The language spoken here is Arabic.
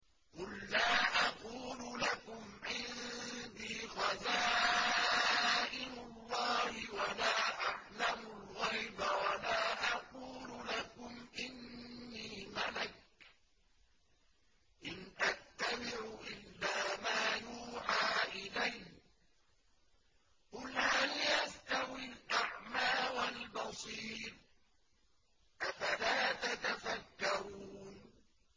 قُل لَّا أَقُولُ لَكُمْ عِندِي خَزَائِنُ اللَّهِ وَلَا أَعْلَمُ الْغَيْبَ وَلَا أَقُولُ لَكُمْ إِنِّي مَلَكٌ ۖ إِنْ أَتَّبِعُ إِلَّا مَا يُوحَىٰ إِلَيَّ ۚ قُلْ هَلْ يَسْتَوِي الْأَعْمَىٰ وَالْبَصِيرُ ۚ أَفَلَا تَتَفَكَّرُونَ